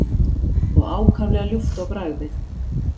og ákaflega ljúft á bragðið.